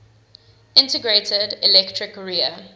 integrated electric rear